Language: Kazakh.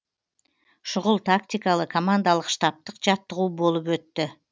шұғыл тактикалы командалық штабтық жаттығу болып өтті